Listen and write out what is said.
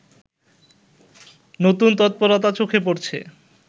নতুন তৎপরতা চোখে পড়ছে